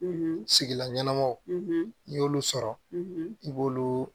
Sigilan ɲɛnamaw n'i y'olu sɔrɔ i b'olu